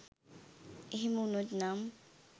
එහෙම උනොත් නම්